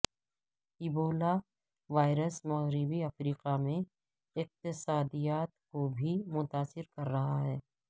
Ebola virus مغربی افریقہ میں اقتصادیات کو بھی متاثر کر رہا ہے